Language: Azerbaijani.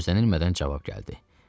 Gözlənilmədən cavab gəldi.